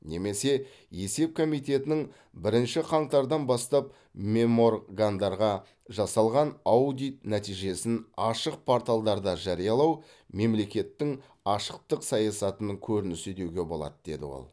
немесе есеп комитетінің бірінші қаңтардан бастап меморгандарға жасалған аудит нәтижесін ашық порталдарда жариялау мемлекеттің ашықтық саясатының көрінісі деуге болады деді ол